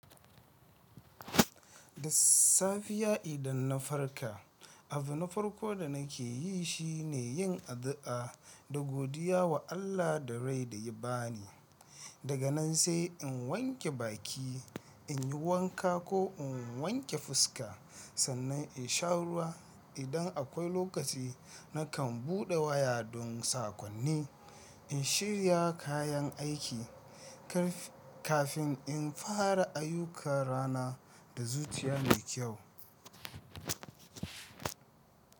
Da safiya ya idan na farka, abu na farko da nake yi shine yin addu'a da godiya wa Allah da rai da ya ba ni. Daga nan sai in wanke baki, in yi wanka ko in wanke fuska, sannan in sha ruwa. Idan akwai lokaci, na kan buɗe waya don sakonni, in shirya kayan aiki kafin in fara ayyukan rana da zutiya mai kyau.